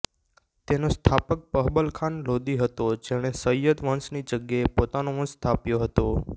તેનો સ્થાપક બહબલ ખાન લોદી હતો જેણે સૈયદ વંશની જગ્યાએ પોતાનો વંશ સ્થાપ્યો હતો